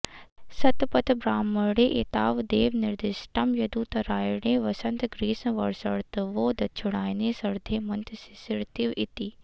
शतपथब्राह्मणे एतावदेव निर्दिष्टं यदुतरायणे वसन्तग्रीष्मवर्षर्तवो दक्षिणायने शरद्धेमन्तशिशिरति॑व इति